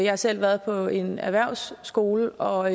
har selv været på en erhvervsskole og